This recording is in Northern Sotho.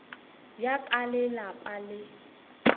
bja ka le lapa le